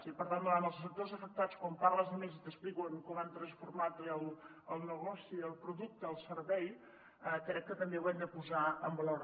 i per tant davant els sectors afectats quan parles amb ells i t’expliquen com han transformat el negoci el producte el servei crec que també ho hem de posar en valor